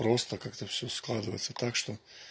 просто как-то всё складывается так что